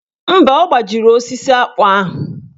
Mba, ọ gbajiri osisi akpụ ahụ.